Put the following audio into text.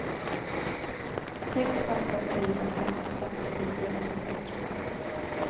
sex åtta fyra fem femtionio åttahundra